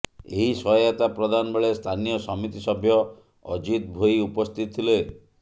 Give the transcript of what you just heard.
ଏହି ସହାୟତା ପ୍ରଦାନ ବେଳେ ସ୍ଥାନୀୟ ସମିତି ସଭ୍ୟ ଅଜିତ ଭୋଇ ଉପସ୍ଥିତ ଥିଲେ